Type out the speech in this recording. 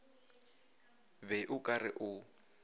be o ka re o